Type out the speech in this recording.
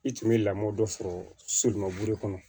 I tun bɛ lamɔ dɔ sɔrɔ somɔburu kɔnɔ